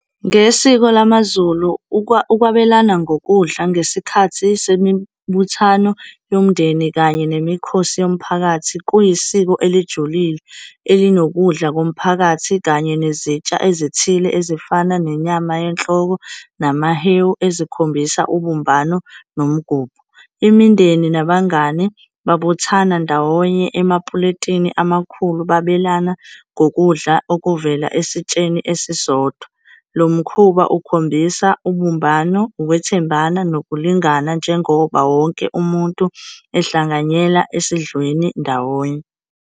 Ngesiko lamaZulu, ukwabelana ngokudla ngesikhathi semibuthano yomndeni kanye nemikhosi yomphakathi, kuyisiko elijulile elinokudla komphakathi, kanye nezitsha ezithile ezifana nenyama yenhloko, namahewu, ezikhombisa ubumbano nomgubho. Imindeni nabangani babuthana ndawonye emapuleyitini amakhulu, babelana ngokudla okuvela esitsheni esisodwa. Lo mkhuba ukhombisa ubumbano, ukwethembana nokulingana, njengoba wonke umuntu ehlanganyela esidlweni ndawonye.